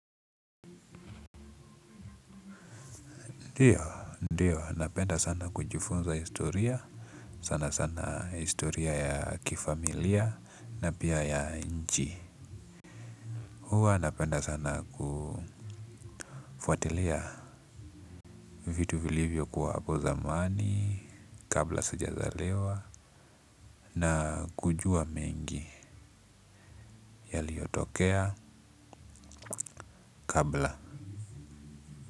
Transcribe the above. Ndiyo, ndiyo, napenda sana kujifunza historia, sana sana historia ya kifamilia na pia ya nchi. Huwa napenda sana kufuatilia vitu vilivyo kuwa hapo zamani, kabla sijazaliwa na kujua mengi yaliotokea kabla.